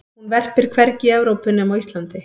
hún verpir hvergi í evrópu nema á íslandi